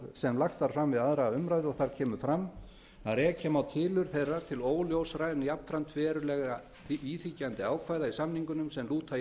sem lagt var fram við aðra umræðu og þar kemur fram að rekja má tilurð þeirra til óljósra en jafnframt verulega íþyngjandi ákvæða í samningunum sem lúta